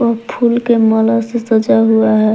और फूल के माला से सजा हुआ है।